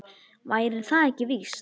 Væri það ekki víst?